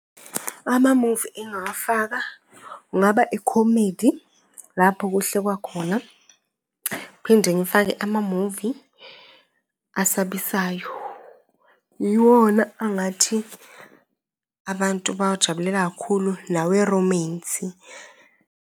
Amamuvi engingawafaka kungaba i-comedy lapho kuhlekwa khona, ngiphinde ngifake amamuvi asabisayo. Iwona angathi abantu bawajabulela kakhulu naweromensi.